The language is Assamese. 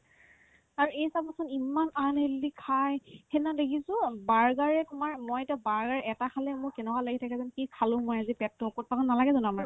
আৰু এই চাবাচোন ইমান unhealthy খাই সেইদিনা দেখিছো অ বাৰ্গাৰে তোমাৰ মই এতিয়া বাৰ্গাৰে এটা খালে মোৰ কেনেকুৱা লাগি থাকে জানা কি খালো মই আজি পেটতো অকত পাকত নালাগে জানো আমাৰ